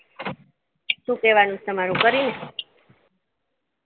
શું કેવાનું છે તમારે કરી ને